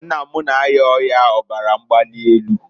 Nne m na- aya ọya ọbara mgbalị enu.